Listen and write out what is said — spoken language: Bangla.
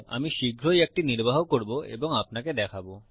অমি শীঘ্রই একটি নির্বাহ করব এবং আপনাকে দেখাবো